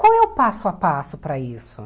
Qual é o passo a passo para isso?